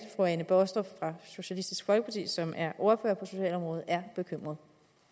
fru anne baastrup fra socialistisk folkeparti som er ordfører på socialområdet er bekymret